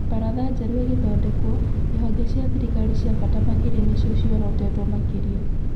Mbaratha njerũ ĩgĩthondekwo, ihonge cia thirikari cia baata makĩria nĩcio ciorotĩtwo makĩria.